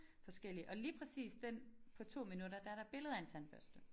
Forskellig og lige præcis den på 2 minutter der der billede af en tandbørste